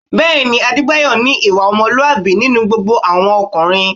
Bẹ́ẹ̀ ni, Adébáyọ̀ ní ìwà ọmọlúwàbí nínú gbogbo àwọn ọkùnrin